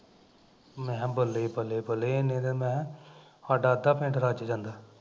ਮੈਂ ਕਿਹਾ ਬੱਲੇ ਬੱਲੇ ਬੱਲੇ ਬੱਲੇ ਏਨੇ ਨਾਲ਼ ਮੈਂ ਕਿਹਾ, ਸਾਡਾ ਅੱਧਾ ਪਿੰਡ ਰੱਜ ਜਾਂਦਾ